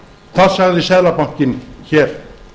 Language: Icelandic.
það sagði seðlabankinn hér